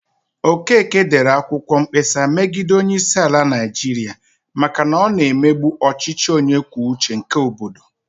Okeke dere akwụkwọ mkpesa megide onyeisiala Naijiria maka na ọ na-emegbu ọchịchị onye kwuo uche ya nke obodo.